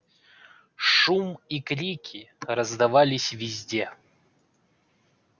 шум и крики раздавались везде